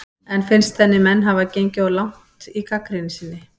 En finnst henni menn hafa gengið of langt í gagnrýni sinni?